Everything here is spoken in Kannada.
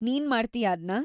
ನೀನ್ ಮಾಡ್ತೀಯಾ ಅದ್ನ?